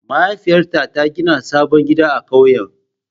Mahaifiyata ta gina sabon gida a ƙauyen.